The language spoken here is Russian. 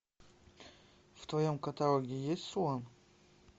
в твоем каталоге есть слон